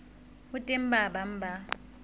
ho teng ba bang ba